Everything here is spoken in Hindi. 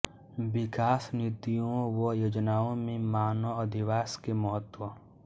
विकास नीतियों व योजनाओं में मानव अधिवास के महत्व